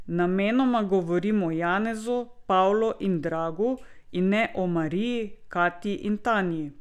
Namenoma govorim o Janezu, Pavlu in Dragu, in ne o Mariji, Katji in Tanji.